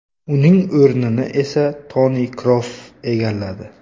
Uning o‘rnini esa Toni Kroos egalladi.